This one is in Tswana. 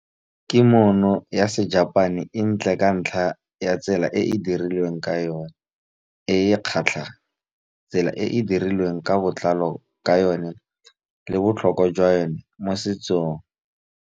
Kimono ya Sejapane e ntle ka ntlha ya tsela e e dirilweng ka yone, e kgatlhang. Tsela e e dirilweng ka botlalo ka yone le botlhokwa jwa yone mo setsong.